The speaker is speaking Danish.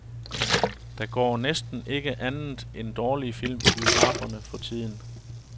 Der går næsten ikke andet end dårlige film i biograferne for tiden.